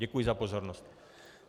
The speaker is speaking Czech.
Děkuji za pozornost.